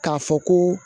K'a fɔ ko